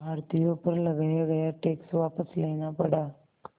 भारतीयों पर लगाया गया टैक्स वापस लेना पड़ा